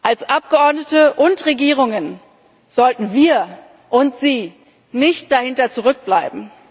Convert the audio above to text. Als Abgeordnete und Regierungen sollten wir und Sie nicht dahinter zurückbleiben!